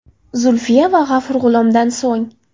Zulfiya va G‘afur G‘ulomdan so‘ng.